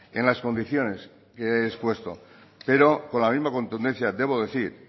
en las condiciones que he expuesto pero con la misma contundencia debo decir